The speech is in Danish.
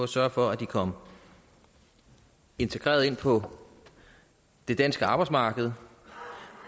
sørge for at de kommer integreret ind på det danske arbejdsmarked